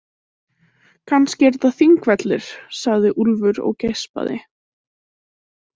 Kannski eru þetta Þingvellir, sagði Úlfur og geispaði.